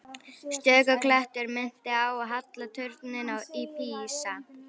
Stöku klettur minnti á halla turninn í Písa.